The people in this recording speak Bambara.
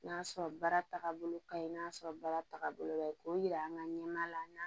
N'a sɔrɔ baara tagabolo ka ɲi n'a sɔrɔ baara tagabolo la k'o yira an ka ɲɛmaa la